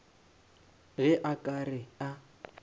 ge a ka re a